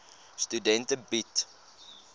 studente bied